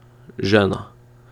Žena.